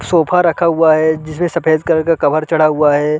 Sofa रखा हुआ है जिसमे सफ़ेद कलर का कवर चढ़ा हुआ है।